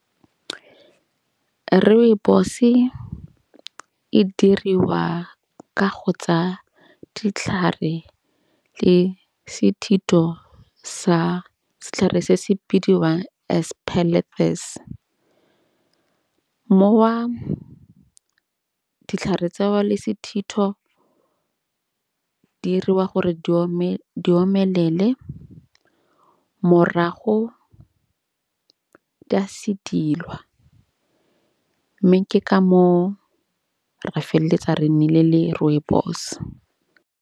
Rooibos-e e diriwa ka go tsa ditlhare le sethetho sa setlhare se se bidiwang aspalathus. Moo ditlhare tsa gao le sethetho di 'iriwa gore di omelele morago di a sedilwa. Mme ke ka moo re feleletsa re nnile le rooibos.